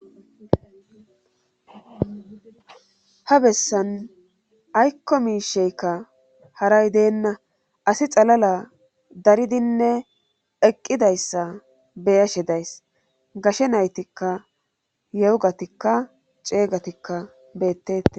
Ha bessan aykko miisheykka haray deenna asi xalala daridinne eqqidayssa beyashe days gashe naytikka yeogatikka ceeygatikka beettes.